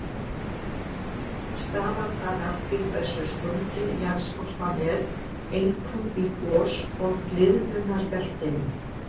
Stafar það af því hversu sprungin jarðskorpan er, einkum í gos- og gliðnunarbeltinu.